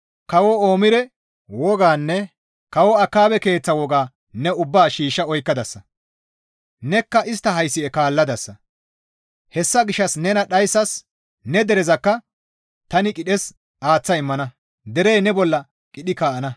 Kawo Omire wogaanne kawo Akaabe keeththa wogaa ne ubbaa shiishsha oykkadasa; nekka istta haysi7e kaalladasa. Hessa gishshas nena dhayssas, ne derezakka tani qidhes aaththa immana; derey ne bolla qidhi kaa7ana.